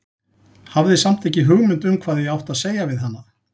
Hafði samt ekki hugmynd um hvað ég átti að segja við hana.